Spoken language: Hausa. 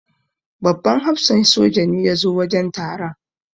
Babban hafsan soja ne ya zo wajen taron.